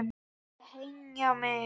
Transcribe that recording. Þeir hengja mig?